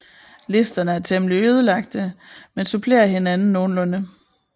Listerne er temmelig ødelagte men supplerer hinanden nogenlunde